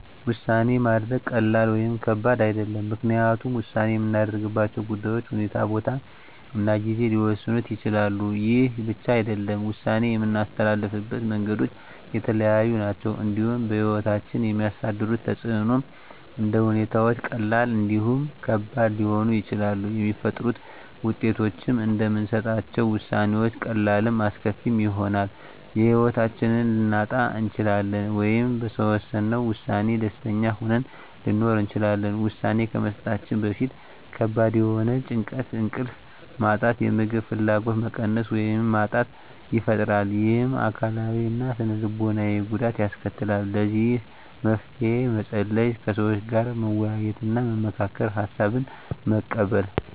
ውሳኔ ማድረግ ቀላል ወይም ከባድ አይደለም ምክንያቱም ውሳኔ የምናደርግባቸው ጉዳዮች ሁኔታ ቦታ እና ጊዜ ሊወሰኑት ይችላሉ ይህ ብቻ አይደለም ውሳኔ የምናስተላልፍበት መንገዶች የተለያዩ ናቸው እንዲሁም በህይወታችን የሚያሳድሩት ተፅእኖም እንደ ሁኔታዎች ቀላልም እንዲሁም ከባድ ሊሆኑ ይችላሉ የሚፈጥሩት ውጤቶችም እንደምንሰጣቸው ውሳኔዎች ቀላልም አስከፊም ይሆናል የህይወታችንን ልናጣ እንችላለን ወይም በወሰነው ውሳኔ ደስተኛ ሆነን ልንኖር እንችላለን ውሳኔ ከመስጠታችን በፊት ከባድ የሆነ ጭንቀት እንቅልፍ ማጣት የምግብ ፍላጎት መቀነስ ወይም ማጣት ይፈጥራል ይህም አካላዊ እና ስነ ልቦናዊ ጉዳት ያስከትላል ለዚህ መፍትሄ መፀለይ ከሰዎች ጋር መወያየትና መመካከር ሀሳብን መቀበል